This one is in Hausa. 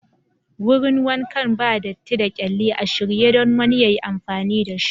Wurin wankan ba dati da kyalli, a shirye don wani yayi amfani da shi.